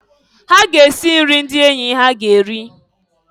Ha ga-esi nri ndị enyi ha ga eri.